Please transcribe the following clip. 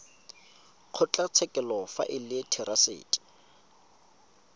kgotlatshekelo fa e le therasete